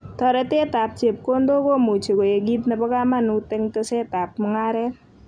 Toretetab chepkondok komuchi koek kit nebo kamanut eng' tesetab mung'aret